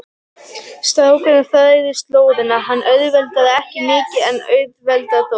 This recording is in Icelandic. Strákurinn þræðir slóðina, hún auðveldar ekki mikið en auðveldar þó.